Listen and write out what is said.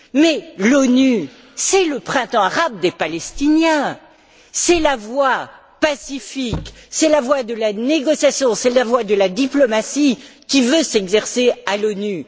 Mais l'ONU, c'est le printemps arabe des Palestiniens, c'est la voie pacifique, c'est la voie de la négociation, c'est la voie de la diplomatie qui veut s'exercer à l'ONU.